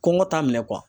Kɔngɔ t'a minɛ